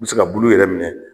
N be se ka bulu yɛrɛ minɛ